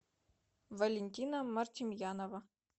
валентина мартемьянова